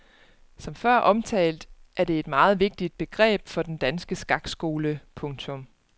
Som før omtalt er det et meget vigtigt begreb for den danske skakskole. punktum